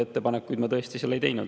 Ettepanekuid ma seal tõesti ei teinud.